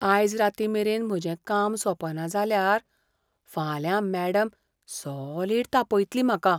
आयज रातीं मेरेन म्हजें काम सोंपना जाल्यार, फाल्यां मॅडम सॉलिड तापयतली म्हाका.